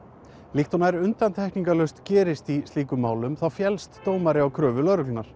líkt og nær undantekningalaust gerist í slíkum málum féllst dómari á kröfu lögreglunnar